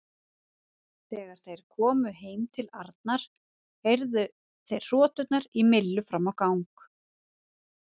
Þegar þeir komu heim til Arnar heyrðu þeir hroturnar í Millu fram á gang.